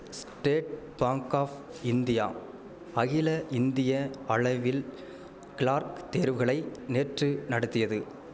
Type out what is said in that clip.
state Bank of India அகில இந்திய அளவில் கிளார்க் தேர்வுகளை நேற்று நடத்தியது